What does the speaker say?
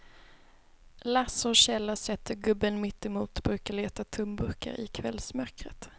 Lasse och Kjell har sett hur gubben mittemot brukar leta tomburkar i kvällsmörkret.